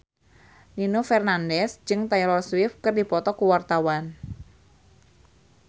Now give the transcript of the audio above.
Nino Fernandez jeung Taylor Swift keur dipoto ku wartawan